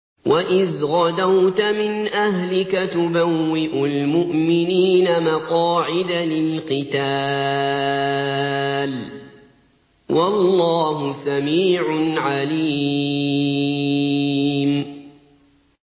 وَإِذْ غَدَوْتَ مِنْ أَهْلِكَ تُبَوِّئُ الْمُؤْمِنِينَ مَقَاعِدَ لِلْقِتَالِ ۗ وَاللَّهُ سَمِيعٌ عَلِيمٌ